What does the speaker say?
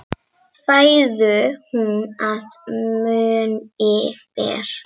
Fæðu hún að munni ber.